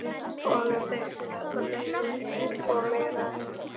Honum þyki þetta leiðinlegt og meira en það.